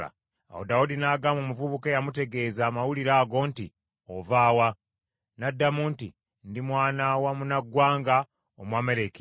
Awo Dawudi n’agamba omuvubuka eyamutegeeza amawulire ago nti, “Ova wa?” N’addamu nti, “Ndi mwana wa munnaggwanga, Omwameleki.”